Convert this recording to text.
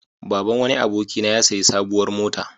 Baban wani abokina ya sayi sabuwar mota.